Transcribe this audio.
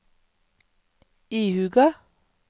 ihuga